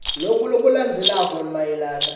loku lokulandzelako mayelana